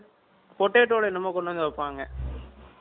potato ல என்னமோ கொண்டு வந்து வைப்பாங்க